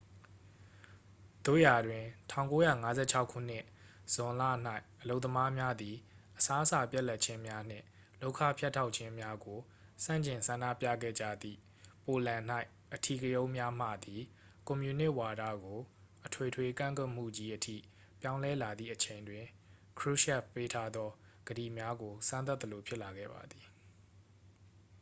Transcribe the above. သို့ရာတွင် 1956 ခုနှစ် ဇွန်လ၌ အလုပ်သမားများသည် အစားအစာပြတ်လပ်ခြင်းများနှင့် လုပ်ခဖြတ်တောက်ခြင်းများကိုဆန့်ကျင်ဆန္ဒပြခဲ့ကြသည့် ပိုလန်၌ အဓိကရုဏ်းများမှသည် ကွန်မြူနစ်ဝါဒကို အထွေထွေကန့်ကွက်မှုကြီး အထိပြောင်းလဲလာခဲ့သည့်အချိန်တွင် krushchev ပေးထားသောကတိများကို စမ်းသပ်သလိုဖြစ်လာခဲ့ပါသည်